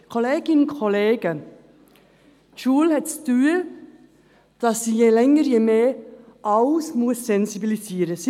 – Kolleginnen und Kollegen, die Schule hat zu tun, da sie je länger desto mehr für alles sensibilisieren muss.